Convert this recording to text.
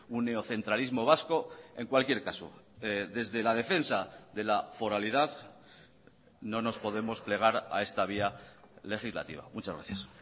un neocentralismo vasco en cualquier caso desde la defensa de la foralidad no nos podemos plegar a esta vía legislativa muchas gracias